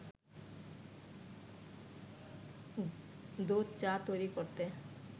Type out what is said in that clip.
দুধ চা তৈরি করতে